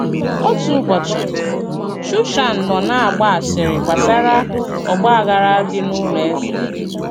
Òtù ùbọ̀chì, Shúshàn nọ̀ nà-agbà àsìrì gbasàrà ọ̀gbà-àghàrà dị̀ n’ùlọ̀ èzè.